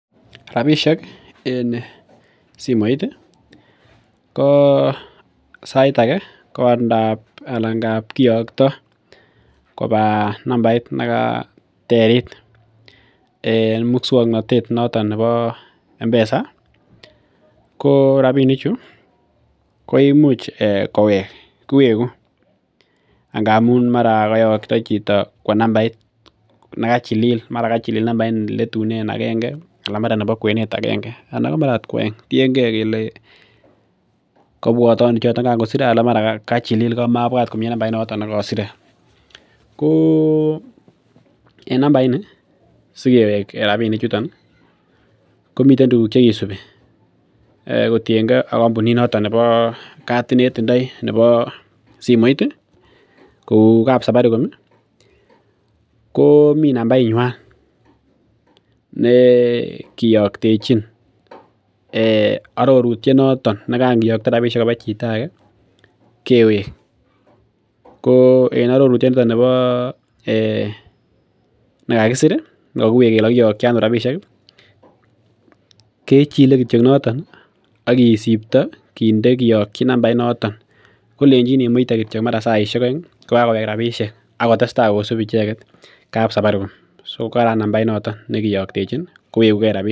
Rapisiek en simoit ko sait age ko ngap anan nan kiyokto koba nambait nekaterit en muswongnotet noton nebo Mpesa ko rapinik chu koimuch kowek kiweku ak ngamun mara koyokto chito kwo nambait nekachilil mara kachilil nambait neletunen agenge anan mara nebo kwenet agenge anan ot ko mara ko oeng tiengee kele kobwote ano chito kan kosire anan mara kachilil ko mabwat nambait nekosire ko en nambait ni sikewek rapinik chuton ih komiten tuguk chekisibi kotiengee ak kampunit noton nebo katit netindoi nebo simoit ih kou kap safaricom ih ko mii nambait nywan ne kiyoktechin arorutyet noton nekan kiyokto rapisiek koba chito age kewek ko en arorutyoniton nibo nekakisir nekokiwek kele kokiyokyi ano rapisiek ih kechile kityo noton ih ak kisipto kinde nambait noton kolenjin imuite kityok mara saisiek oeng ih kokakowek rapisiek akotestaa kosip icheket kap safaricom so karan nambait noton nekiyoktechin kowekugee rapinik